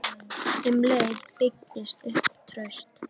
Um leið byggist upp traust.